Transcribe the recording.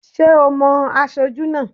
Ṣé ò mo aṣojú náà?